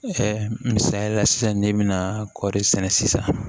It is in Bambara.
misaliya la sisan n'i bɛna kɔɔri sɛnɛ sisan